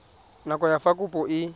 nako ya fa kopo e